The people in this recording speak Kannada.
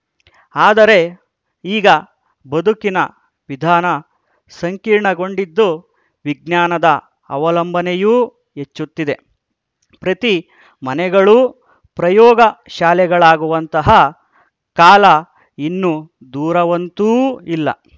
ಆದರೆ ಈಗ ಬದುಕಿನ ವಿಧಾನ ಸಂಕೀರ್ಣಗೊಂಡಿದ್ದು ವಿಜ್ಞಾನದ ಅವಲಂಬನೆಯೂ ಹೆಚ್ಚುತ್ತಿದೆ ಪ್ರತಿ ಮನೆಗಳೂ ಪ್ರಯೋಗ ಶಾಲೆಗಳಾಗುವಂತಹ ಕಾಲ ಇನ್ನು ದೂರವಂತೂ ಇಲ್ಲ